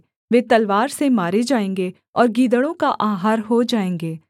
वे तलवार से मारे जाएँगे और गीदड़ों का आहार हो जाएँगे